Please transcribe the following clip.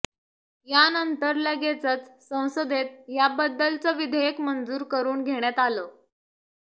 यानंतर लगेचच संसदेत याबद्दलचं विधेयक मंजूर करुन घेण्यात आलं